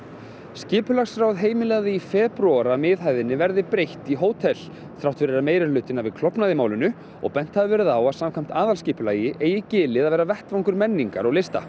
skipulagsráð heimilaði í febrúar að miðhæðinni verði breytt í hótel þrátt fyrir að meirihlutinn hafi klofnað í málinu og bent hafi verið á að samkvæmt aðalskipulagi eigi gilið að vera vettvangur menningar og lista